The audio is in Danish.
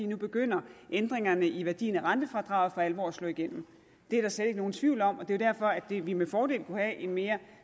nu begynder ændringerne i værdien af rentefradraget for alvor at slå igennem det er der slet ikke nogen tvivl om og det er jo derfor at vi med fordel kunne have en mere